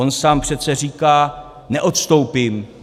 On sám přece říká: neodstoupím.